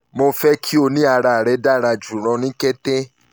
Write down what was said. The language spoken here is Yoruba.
mo fẹ ki o ni ara rẹ dara julọ ni ketedokita vira shahj